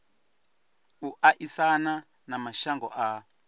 u aisana na mashango a